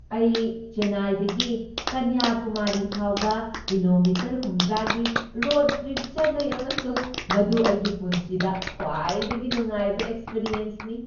ꯑꯩ ꯆꯦꯟꯅꯥꯏꯗꯒꯤ ꯀꯟꯌꯥꯀꯨꯃꯥꯔꯤ ꯐꯥꯎꯕ ꯀꯤꯂꯣꯃꯤꯇꯔ ꯍꯨꯝꯗ꯭ꯔꯥꯒꯤ ꯔꯣꯗ ꯇ꯭ꯔꯤꯞ ꯆꯠꯂꯨꯏ ꯑꯃꯁꯨꯡ ꯃꯗꯨ ꯑꯩꯒꯤ ꯄꯨꯟꯁꯤꯗ ꯈ꯭ꯋꯥꯏꯗꯒꯤ ꯅꯨꯡꯉꯥꯏꯕ ꯑꯦꯛꯄꯔꯤꯑꯦꯟꯁꯅꯤ꯫